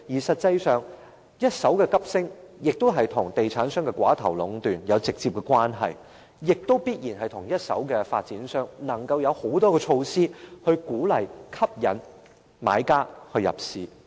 實際上，一手樓價急升，與地產商的寡頭壟斷有直接關係，亦必然與一手樓宇的發展商能夠推出種種措施，鼓勵、吸引買家入市有關。